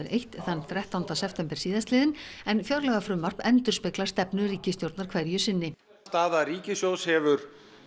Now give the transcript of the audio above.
eitt þrettánda september síðastliðinn en fjárlagafrumvarp endurspeglar stefnu ríkisstjórnar hverju sinni staða ríkissjóðs hefur